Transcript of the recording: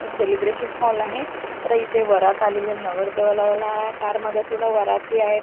Celebration hall आहे तर इथे वरात आलेलीये नवरदेवाला ला कार मध्ये पूर्ण वराती आहेत.